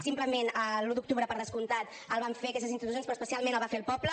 simplement l’un d’octubre per descomptat el van fer aquestes institucions però especialment el va fer el poble